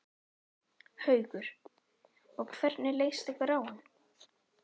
Haukur: Og hvernig leist ykkur á hann?